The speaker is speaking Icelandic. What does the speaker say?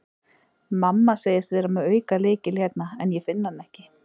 Mamma segist vera með aukalykil hérna en ég finn hann ekki.